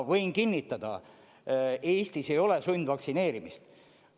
Võin kinnitada: Eestis ei ole sundvaktsineerimist.